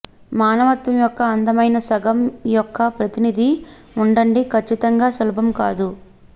మానవత్వం యొక్క అందమైన సగం యొక్క ప్రతినిధి ఉండండి ఖచ్చితంగా సులభం కాదు